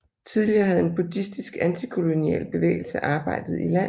Tidligere havde en buddhistisk antikolonial bevægelse arbejdet i landet